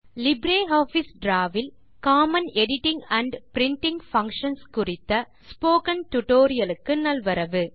LibreOffice draw will common editing and printing functions குறித்த spoken டுடோரியலுக்கு நல்வரவு